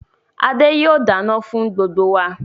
Adé yìí ó dáná fún gbogbo wá